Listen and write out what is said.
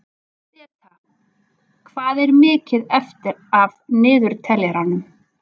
Beta, hvað er mikið eftir af niðurteljaranum?